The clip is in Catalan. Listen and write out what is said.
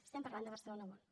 estem parlant de barcelona world